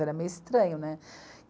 Era meio estranho, né?